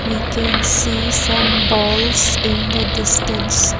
we can see some balls in the distance.